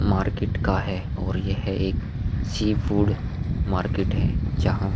market का है और यह एक सी फूड मार्केट है जहां --